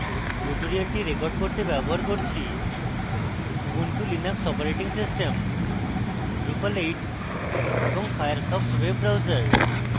tutorial record করতে ব্যবহার করছি Ubuntu Linux operating system drupal 8 এবং ফায়ারফক্স ওয়েব ব্রাউজার